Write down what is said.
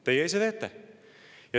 Teie ise teete.